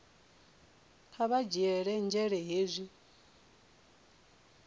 kha vha dzhiele nzhele hezwi